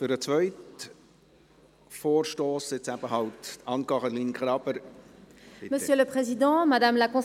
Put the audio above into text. Für den zweiten Vorstoss: Anne-Caroline Graber.